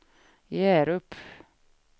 Hjärup